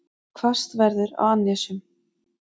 Hvassast verður á annesjum